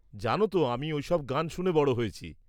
জানো তো, আমি ওই সব গান শুনে বড় হয়েছি।